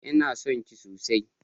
Ina son ki sosai